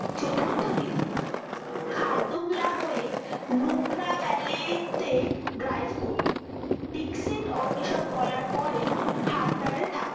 চতুর্থ দিন খারদুংলা হয়ে লুব্রা valley তে GAIS করুন দীক্ষিত অন্বেষণ করার পরে হান্ডারে